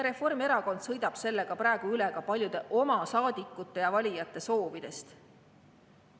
Reformierakond sõidab sellega praegu üle ka paljude oma saadikute ja valijate soovidest.